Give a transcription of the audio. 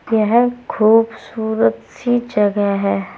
यह खूबसूरत सी जगह है।